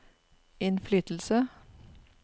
innflytelse